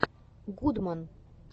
гудман